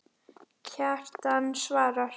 Kjartan svarar